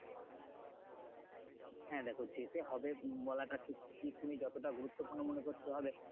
হ্যাঁ দেখো যেতে হবে আহ বলাটা ঠিক ঠিক তুমি যতটা গুরুত্বপূর্ণ মনে করছো ও ভাবে